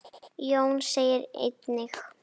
Jón segir einnig